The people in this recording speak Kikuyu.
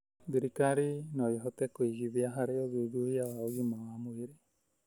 Thirikari no ĩhote kũigithia harĩ ũthuthuria wa ũgima wa mwĩrĩ